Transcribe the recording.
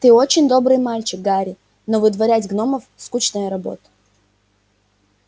ты очень добрый мальчик гарри но выдворять гномов скучная работа